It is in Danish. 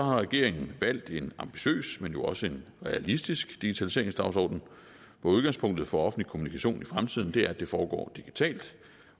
regeringen valgt en ambitiøs men jo også realistisk digitaliseringsdagsorden hvor udgangspunktet for offentlig kommunikation i fremtiden er at det foregår digitalt